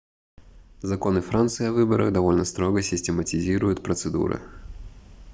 законы франции о выборах довольно строго систематизируют процедуры